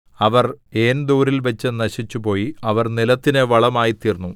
അവർ ഏൻദോരിൽവച്ച് നശിച്ചുപോയി അവർ നിലത്തിന് വളമായിത്തീർന്നു